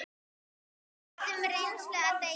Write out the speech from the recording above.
Við höfðum reynslu að deila.